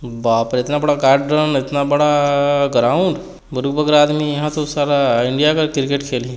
बाप रे इतना बड़ा गार्ड्रन इतना बड़ा ग्राउंड आदमी यहाँ त साला इंडिया का क्रिकेट खेलही।